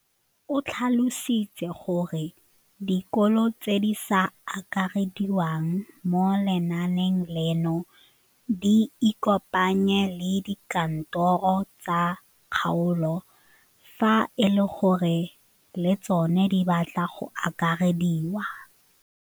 O tlhalositse gore dikolo tse di sa akarediwang mo lenaaneng leno di ikopanye le dikantoro tsa kgaolo fa e le gore le tsona di batla go akarediwa.